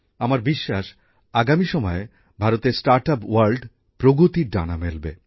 আমার বিশ্বাস আগামী সময়ে ভারতের স্টার্ট আপ জগত প্রগতির ডানা মেলবে